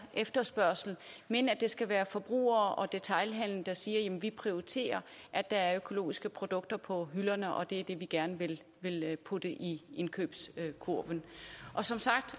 efterspørgsel men at det skal være forbrugere og detailhandel der siger at de prioriterer at der er økologiske produkter på hylderne og at det er det de gerne vil putte i indkøbskurven som sagt